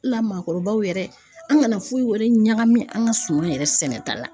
La maakɔrɔbaw yɛrɛ an kana foyi wɛrɛ ɲagami an ka so yɛrɛ sɛnɛta la.